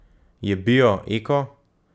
Je bio, eko?